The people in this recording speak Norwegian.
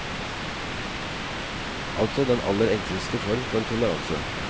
Altså den aller enkleste form for toleranse.